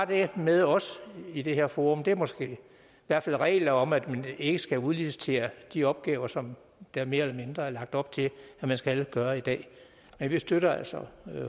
det med også i det her forum det er måske i hvert fald regler om at man ikke skal udlicitere de opgaver som der mere eller mindre er lagt op til man skal gøre i dag men vi støtter altså